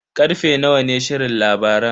Karfe nawa ne shirin labaran?